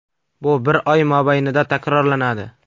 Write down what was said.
Bu bir oy mobaynida takrorlanadi.